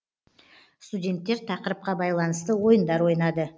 студенттер тақырыпқа байланысты ойындар ойнады